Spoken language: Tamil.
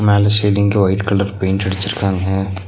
மேல சீலிங்க்கு ஒயிட் கலர் பெயிண்ட் அடிச்சிருக்காங்க.